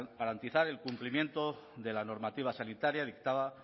garantizar el cumplimiento de la normativa sanitaria dictaba